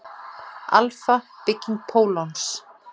Alfa-bygging pólons.